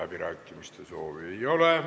Kõnesoove ei ole.